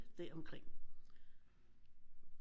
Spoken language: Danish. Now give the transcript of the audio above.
Deromkring